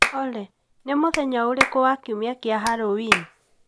Olly mũthenya ũrĩkũ wa kiumia kĩa Halloween